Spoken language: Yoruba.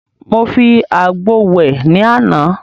Mo fi àgbo wẹ̀ ní àná.